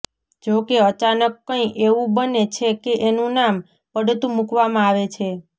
જો કે અચાનક કંઈ એવું બને છે કે એનું નામ પડતું મૂકવામાં આવે છે